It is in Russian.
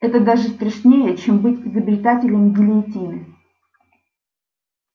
это даже страшнее чем быть изобретателем гильотины